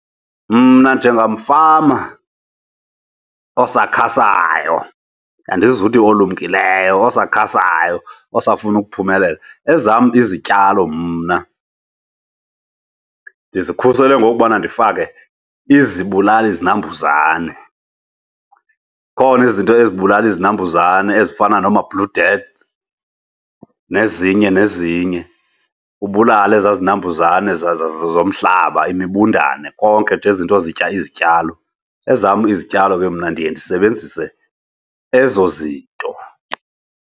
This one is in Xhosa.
Mna njengamfama osakhasayo, andizuthi olumkileyo, osakhasayo osafuna ukuphumelela, ezam izityalo mna ndizikhusele ngokubana ndifake izibulalizinambuzane. Zikhona izinto ezibulala izinambuzane ezifana nomaBlue Death nezinye nezinye, ubulale ezaa zinambuzane zomhlaba, imibundane, konke nje ezi zinto zitya izityalo. Ezam izityalo ke mna ndiye ndisebenzise ezo zinto.